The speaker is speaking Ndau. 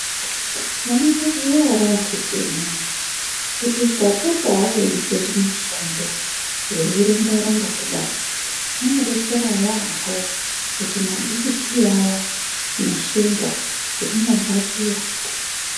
Munozviziya ere akiti imwimwi kuti ukapotawo weita zvimushando weirumba kudai ,kuti mabhipii aya neshuga zvinodzakira.